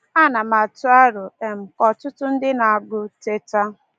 Ana m atụ aro um ka ọtụtụ ndị na-agụ Teta!